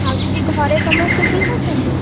ଆଉ ଦିଦି ଘରେ ସମସ୍ତେ ଠିକ ଅଛନ୍ତି?